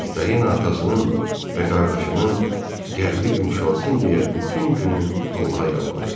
Viktorina atasının və qardaşının qəlbi yumşalsın deyə bütün günü Allaha yalvarırdı.